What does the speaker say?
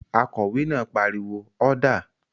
Akòwé náà pariwo "ọ́dà!"